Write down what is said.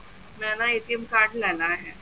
ਮੈਂ ਨਾ card ਲੈਣਾ ਹੈ